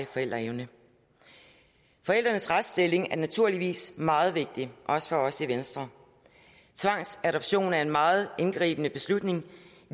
forældreevnen forældrenes retsstilling er naturligvis meget vigtig også for os i venstre tvangsadoption er en meget indgribende beslutning